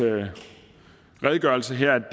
redegørelse her